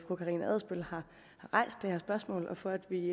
fru karina adsbøl har rejst det her spørgsmål og for at vi